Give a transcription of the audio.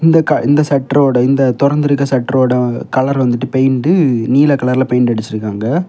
இந்த க இந்த ஷட்ரோட இந்த தொறந்திருக்க ஷட்ரோட வ கலர் வந்துட்டு பெயிண்ட்டு நீல கலர்ல பெயிண்ட் அடிச்சிருகாங்க.